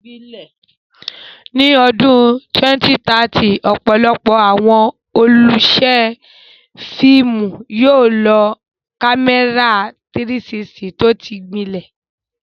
Ní ọdún 2030, ọ̀pọ̀lọpọ̀ àwọn olùṣe fíìmù yóò lo kámẹ́rà 360 tó ti gbilẹ̀.